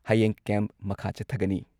ꯍꯌꯦꯡ ꯀꯦꯝꯞ ꯃꯈꯥ ꯆꯠꯊꯒꯅꯤ ꯫